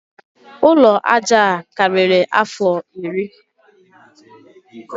Ụlọ aja a karịrị afọ iri